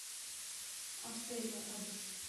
австерия адрес